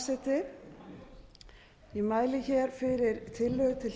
frú forseti ég mæli hér fyrir tillögu til